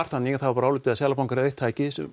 þannig að það var álitið að Seðlabankinn væri eitt tæki